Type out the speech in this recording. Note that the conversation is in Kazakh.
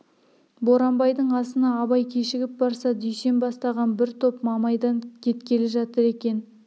боранбайдың асына абай кешігіп барса дүйсен бастаған бір топ мамайдан кеткелі жатыр екен